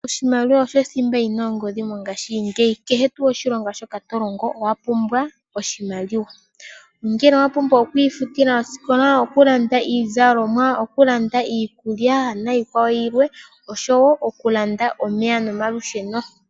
Oshimaliwa osho thimba yi na ongodhi mongashingeyi. Kehe tuu oshilonga to longo owa pumbwa oshimaliwa, ongele owa pumbwa oku ifutila osikola, okulanda iizalomwa, okulanda iikulya niikwawo yilwe, osho wo okulanda omeya nomalusheno.